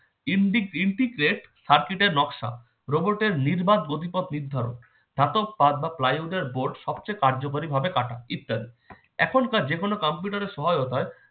in integrated circuit এর নকশা robot এর নির্বাক গতিপথ নির্ধারণ ধাতব পাত বা flywood এর board সবচেয়ে কার্যকারী ভাবে কাটা ইত্যাদি এখনকার যেকোনো কম্পিউটার এর সহায়তায়